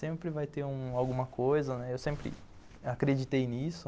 Sempre vai ter alguma coisa, né, eu sempre acreditei nisso.